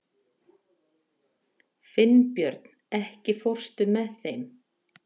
Finnbjörn, ekki fórstu með þeim?